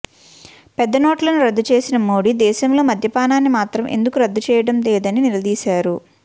పెద్ద నోట్లను రద్దు చేసిన మోడీ దేశంలో మద్యపానాన్ని మాత్రం ఎందుకు రద్దు చేయడం లేదని నిలదీశారు